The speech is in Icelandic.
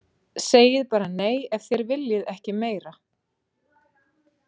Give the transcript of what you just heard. Segið bara nei ef þér viljið ekki meira.